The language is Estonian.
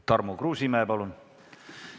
Tarmo Kruusimäe, palun!